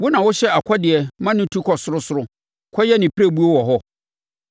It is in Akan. Wo na wohyɛ ɔkɔdeɛ ma no tu kɔ sorosoro kɔyɛ ne pirebuo wɔ hɔ?